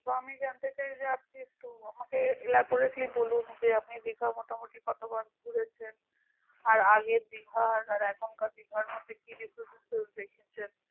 আমি জানতে চাই যে আপনি একটু আমাকে elaborately বলুন যে আপনি যে কেও মোটামুটি কতবার ঘুরেছেন আর আগের দীঘার আর এখনকার দীঘার মধ্যে কি difference দেখেছেন